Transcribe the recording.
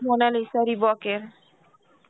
Mona Lisa Reebok এর.